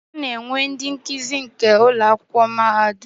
Ana enwe ndi nkuzi nke Ụlọ akwụkwọ mahadum.